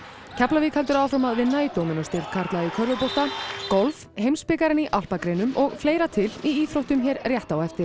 Keflavík heldur áfram að vinna í karla í körfubolta golf heimsbikarinn í alpagreinum og fleira til í íþróttum hér rétt á eftir